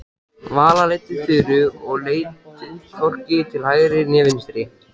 Vala leiddi Þuru og leit hvorki til hægri né vinstri.